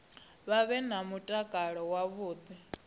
vha vhe na mutakalo wavhuḓi